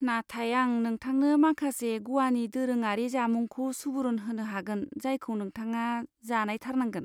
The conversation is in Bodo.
नाथाय आं नोंथांनो माखासे ग'वानि दोरोङारि जामुंखौ सुबुरुन होनो हागोन जायखौ नोंथाङा जानायथारनांगोन।